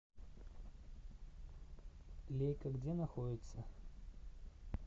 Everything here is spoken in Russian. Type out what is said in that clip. лейка где находится